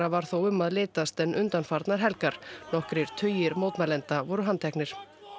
var þó um að litast en undanfarnar helgar nokkrir tugir mótmælenda voru handteknir